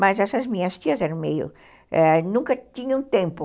Mas essas minhas tias eram meio, nunca tinham tempo.